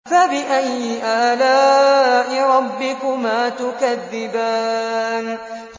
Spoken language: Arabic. فَبِأَيِّ آلَاءِ رَبِّكُمَا تُكَذِّبَانِ